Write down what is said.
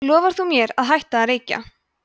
lofar þú mér að hætta að reykja